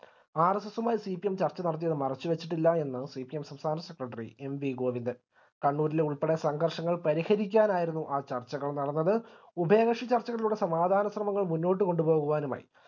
RSS യുമായി CPM ചർച്ച നടത്തിയത് മറച്ചു വെച്ചിട്ടില്ല എന്ന് CPM സംസ്ഥാന സെക്രട്ടറി എൻ വി ഗോവിന്ദൻ കണ്ണൂരിലെ ഉൾപ്പെടെ സംഘർഷങ്ങൾ പരിഹരിക്കാനായിരുന്നു ആ ചർച്ചകൾ നടന്നത് ഉഭയകക്ഷി ചർച്ചകളിലൂടെ സമാധാന ശ്രമങ്ങൾ മുന്നോട്ട് കൊണ്ടുപോകുവാനുമായി